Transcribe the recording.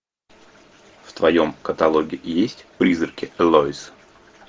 в твоем каталоге есть призраки элоиз